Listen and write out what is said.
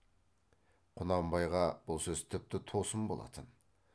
құнанбайға бұл сөз тіпті тосын болатын